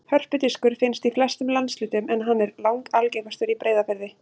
Hörpudiskur finnst í flestum landshlutum en hann er langalgengastur í Breiðafirði.